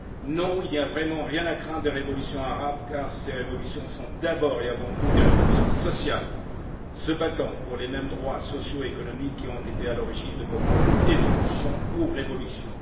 Non, il n'y a vraiment rien à craindre des révolutions arabes, car ces révolutions sont d'abord et avant tout des révolutions sociales, se battant pour les mêmes droits sociaux et économiques qui ont été à l'origine de vos propres évolutions ou révolutions.